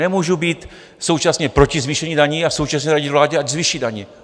Nemůžu být současně proti zvýšení daní a současně radit vládě, ať zvýší daně.